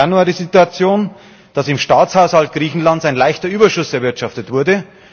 Wir hatten im Januar die Situation, dass im Staatshaushalt Griechenlands ein leichter Überschuss erwirtschaftet wurde.